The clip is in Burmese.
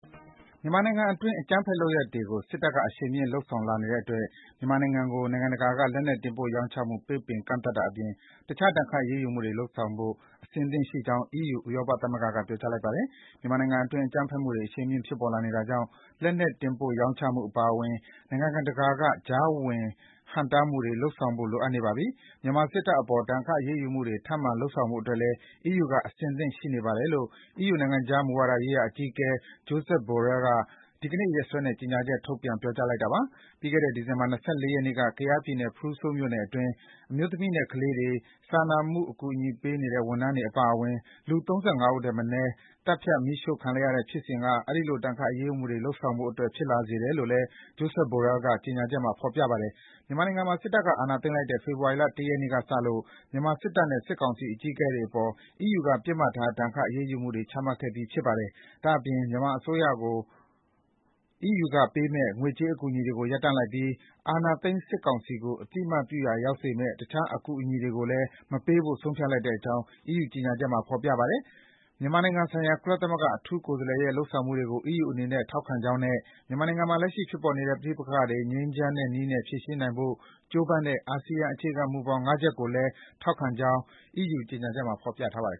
မြန်မာနိုင်ငံတွင်း အကြမ်းဖက်လုပ်ရပ်တွေကို စစ်တပ်က အရှိန်မြှင့် လုပ်ဆောင်လာနေတဲ့အတွက် မြန်မာနိုင်ငံကို နိုင်ငံတကာက လက်နက်တင်ပို့ရောင်းချမှု ပိတ်ပင် ကန့်သတ်တာအပြင် တခြား ဒဏ်ခတ်အရေးယူမှုတွေ လုပ်ဆောင်ဖို့ အဆင်သင့်ရှိနေကြောင်း ဥရောပသမဂ္ဂ (EU) က ပြောလိုက်ပါတယ်။ “မြန်မာနိုင်ငံတွင်း အကြမ်းဖက်မှုတွေ အရှိန်မြင့် ဖြစ်ပေါ်လာနေတာကြောင့် လက်နက်တင်ပို့ရောင်းချမှုအပါအဝင် နိုင်ငံတကာက ကြားဝင် ဟန့်တားမှုတွေ လုပ်ဆောင်ဖို့ လိုအပ်နေပါပြီ၊ မြန်မာစစ်တပ်အပေါ် ဒဏ်ခတ် အရေးယူမှုတွေ ထပ်မံလုပ်ဆောင်ဖို့အတွက်လည်း EU က အဆင်သင့် ရှိနေပါတယ်” လို့ EU နိုင်ငံခြားမူဝါဒရေးရာအကြီးအကဲ Josep Borrell က ဒီကနေ့ ရက်စွဲနဲ့ ကြေညာချက် ထုတ်ပြန် ပြောကြားလိုက်တာပါ။ ပြီးခဲ့တဲ့ ဒီဇင်ဘာလ ၂၄ ရက်နေ့က ကယားပြည်နယ်၊ ဖရူးဆိုးမြို့နယ်တွင်း အမျိုးသမီးနဲ့ ကလေးတွေ၊ စာနာမှုအကူအညီပေးနေတဲ့ ဝန်ထမ်းတွေအပါအဝင် လူ ၃၅ ဦးထက်မနည်း သတ်ဖြတ် မီးရှို့ခံလိုက်ရတဲ့ဖြစ်စဉ်က အဲဒီလို ဒဏ်ခတ်အရေးယူမှုတွေ လုပ်ဆောင်ဖို့အတွက် ဖြစ်လာစေတယ်လို့လည်း Josep Borrell ရဲ့ ကြေညာချက်မှာ ဖော်ပြပါတယ်။ မြန်မာနိုင်ငံမှာ စစ်တပ်ကအာဏာသိမ်းလိုက်တဲ့ ဖေဖော်ဝါရီလ ၁ ရက်နေ့ကစလို့ မြန်မာစစ်တပ်နဲ့ စစ်ကောင်စီအကြီးအကဲတွေအပေါ် EU က ပစ်မှတ်ထား ဒဏ်ခတ် အရေးယူမှုတွေ ချမှတ်ခဲ့ပြီး ဖြစ်ပါတယ်။ ဒါ့အပြင် မြန်မာအစိုးရကို EU ကပေးမယ့် ငွေကြေးအကူအညီတွေကို ရပ်ဆိုင်းထားပြီး အာဏာသိမ်းစစ်ကောင်စီကို အသိအမှတ်ပြုရာရောက်စေမယ့် တခြား အကူအညီတွေကိုလည်း မပေးဖို့ ဆုံးဖြတ်ထားတဲ့အကြောင်း EU ကြေညာချက်မှာ ဖော်ပြထားပါတယ်။ မြန်မာနိုင်ငံဆိုင်ရာ ကုလသမဂ္ဂ အထူးကိုယ်စားလှယ်ရဲ့ လုပ်ဆောင်မှုတွေကို EU အနေနဲ့ ထောက်ခံကြောင်းနဲ့ မြန်မာနိုင်ငံမှာ လက်ရှိဖြစ်ပေါ်နေတဲ့ ပဋိပက္ခတွေကို ငြိမ်းချမ်းတဲ့နည်းနဲ့ ဖြေရှင်းနိုင်ဖို့ ကြိုးပမ်းတဲ့ အာဆီယံ အခြေခံမူဘောင် ငါးချက်ကိုလည်း ထောက်ခံကြောင်း ကြေညာချက်မှာ ဖော်ပြထားပါတယ်